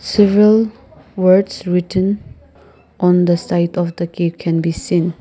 several words written on the side of the cave can be seen.